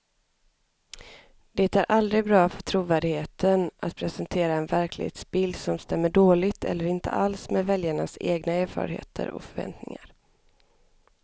Det är aldrig bra för trovärdigheten att presentera en verklighetsbild som stämmer dåligt eller inte alls med väljarnas egna erfarenheter och förväntningar.